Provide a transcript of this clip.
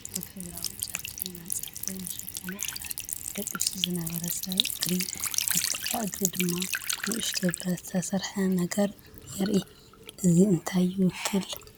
ኣብ ሕብራዊ ጨርቂ መንጸፍ ወይ መሸፈኒ ዓራት ደቂሱ ዝነበረ ሰብ እግሪ፡ ኣብ ጥቓ እግሪ ድማ ንእሽቶ ብረት ዝሰርሕ ነገር የርኢ። እዚ እንታይ ይውክል?